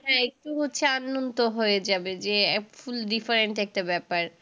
হ্যাঁ, একটু হচ্ছে আননোন তো হয়ে যাবে যে full different একটা ব্যাপার।